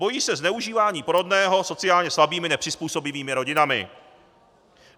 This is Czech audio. Bojí se zneužívání porodného sociálně slabými nepřizpůsobivými rodinami.